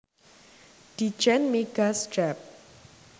Ditjen Migas Dep